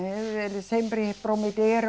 Eles sempre prometeram.